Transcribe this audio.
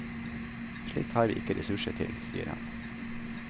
Slikt har ikke vi ressurser til, sier han.